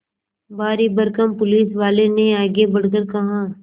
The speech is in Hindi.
भारीभरकम पुलिसवाले ने आगे बढ़कर कहा